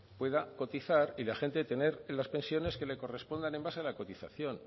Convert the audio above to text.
pueda cotizar y la gente tener las pensiones que le correspondan en base a la cotización